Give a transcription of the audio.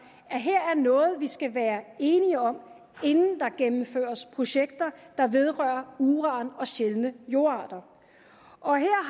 at her er noget vi skal være enige om inden der gennemføres projekter der vedrører uran og sjældne jordarter og her